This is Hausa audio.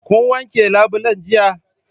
Kun wanke labulen jiya?